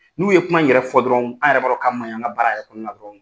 N'u ye kuma yɛrɛ fɔ dɔrɔn, an yɛrɛ b'a don ka maɲi an ka baaraya kɔnɔ na dɔrɔn